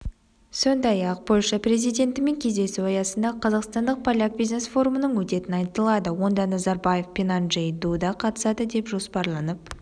сондай-ақ польша президентімен кездесу аясында қазақстандық-поляк бизнес-форумының өтетіні айтылады онда назарбаев пенанджей дуда қатысады деп жоспарланып